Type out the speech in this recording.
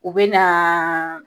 U bɛ naa